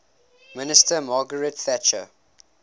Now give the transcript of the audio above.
minister margaret thatcher